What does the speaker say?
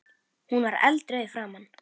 Hún var eldrauð í framan.